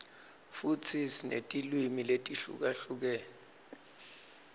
futsi sinetilwimi letihlukahlukene